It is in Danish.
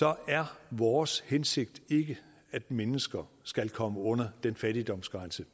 er vores hensigt ikke at mennesker skal komme under den fattigdomsgrænse